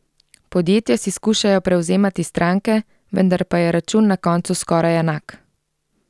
Podjetja si skušajo prevzemati stranke, vendar pa je račun na koncu skoraj enak.